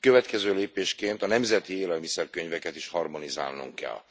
Következő lépésként a nemzeti élelmiszerkönyveket is harmonizálnunk kell.